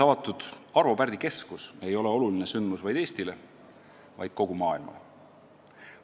Arvo Pärdi Keskuse avamine mullu oktoobris ei olnud oluline sündmus mitte ainult Eestile, vaid kogu maailmale.